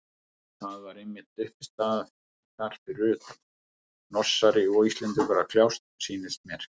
Það var eitthvert uppistand þar fyrir utan, Norsari og Íslendingur að kljást, sýndist mér.